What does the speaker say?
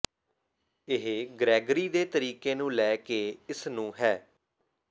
ਇਹ ਗ੍ਰੈਗਰੀ ਦੇ ਤਰੀਕੇ ਨੂੰ ਲੈ ਕੇ ਇਸ ਨੂੰ ਹੈ